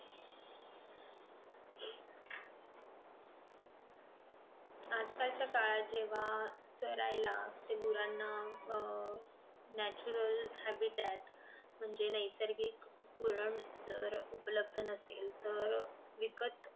आजकाल च्या काळात जेंव्हा चरायला ते गुरांना अह natural habbitat म्हणजे नैसर्गिक पुरण जर उपलब्ध नसेल तर विकत